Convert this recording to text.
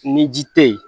Ni ji te yen